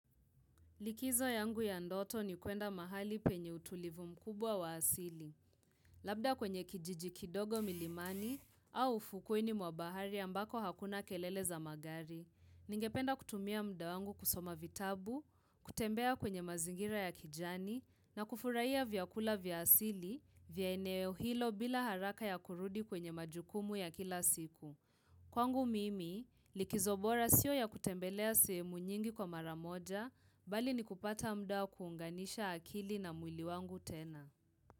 Likizo yangu ya ndoto ni kuenda mahali penye utulivu mkubwa wa asili. Labda kwenye kijiji kidogo milimani au ufukweni mwa bahari ambako hakuna kelele za magari. Ningependa kutumia muda wangu kusoma vitabu, kutembea kwenye mazingira ya kijani, na kufurahia vyakula vya asili, vya eneo hilo bila haraka ya kurudi kwenye majukumu ya kila siku. Kwangu mimi, likizo bora sio ya kutembelea semu nyingi kwa maramoja, bali ni kupata muda wa kuunganisha akili na mwili wangu tena.